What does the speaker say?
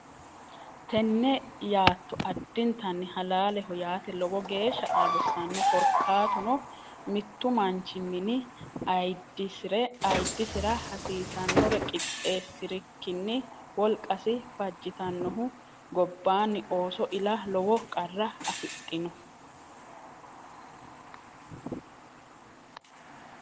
Tenne yaatto addintanni halaaleho yaate lowo geeshsha qarrisanno. Korkaatuno mittu manchi mini ayiddisira hasiisannore qixxeessi’rikkinni wolqasi fajjitannohu gobbaanni ooso ila lowo qarra afidhino?